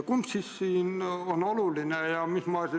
Kumb siis siin on oluline?